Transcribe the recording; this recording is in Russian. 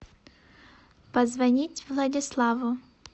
позвонить владиславу